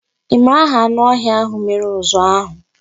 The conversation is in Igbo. Ị mara aha anụ ọhịa ahụ mere uzu ahụ?